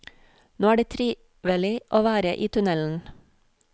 Nå er det trivelig å være i tunnelen.